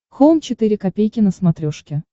хоум четыре ка на смотрешке